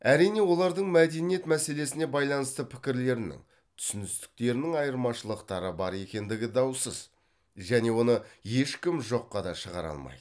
әрине олардың мәдениет мәселесіне байланысты пікірлерінің түсіністіктерінің айырмашылықтары бар екендігі даусыз және оны ешкім жоққа да шығара алмайды